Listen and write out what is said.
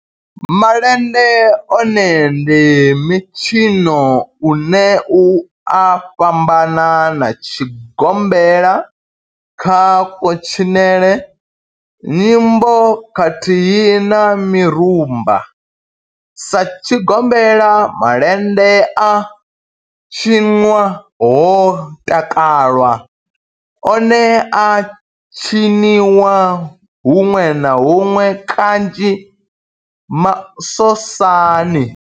Malende one ndi mitshino une u a fhambana na tshigombela kha kutshinele, nyimbo khathihi na mirumba. Sa tshigombela, malende a tshinwa ho takalwa, one a a tshiniwa hunwe na hunwe kanzhi masosani.